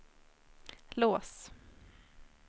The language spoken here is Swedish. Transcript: lås